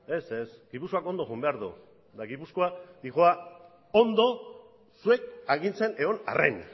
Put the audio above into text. ez ez gipuzkoak ondo joan behar du eta gipuzkoa doa ondo zuek agintzen egon arren